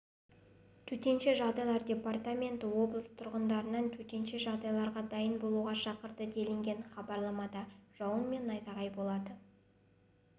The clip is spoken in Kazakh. төтенше жағдайлар департаменті облыс тұрғындарын төтенше жағдайларға дайын болуға шақырды делінген хабарламада жауын мен найзағай болады